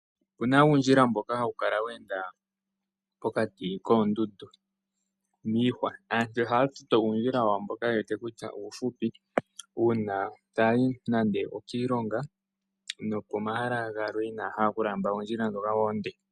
Opuna uundjila mboka hawu kala wa enda pokati kondundu niihwa, aantu oha toto uundjila wawo mboka yewete kutya ufupi una tayi nande okiilonga nopomahala galwe inahala oku lamba ondjila dhoka onde.